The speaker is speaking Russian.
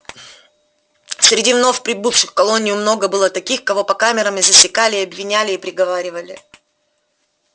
среди вновь прибывших в колонию много было таких кого по камерам и засекали и обвиняли и приговаривали